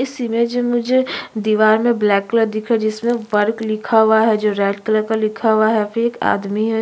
इस इमेज में जो मुझे दीवार में ब्लैक कलर दिखा है जिसमें वर्क लिखा हुआ हैजो रेड कलर का लिखा हुआ है यहां पे एक आदमी है।